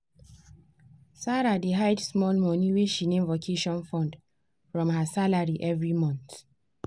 sarah dey hide small money wey she name "vacation fund" from her salary every month.